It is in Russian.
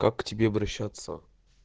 как к тебе обращаться